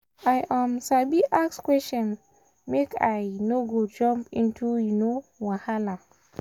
i um sabi ask question make i um no go jump to um wahala.